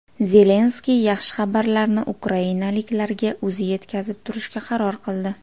Zelenskiy yaxshi xabarlarni ukrainaliklarga o‘zi yetkazib turishga qaror qildi.